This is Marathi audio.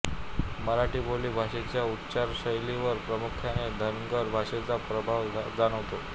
मराठी बोली भाषेच्या उच्चारशैलीवर प्रामुख्याने धनगर भाषेचा प्रभाव जाणवतो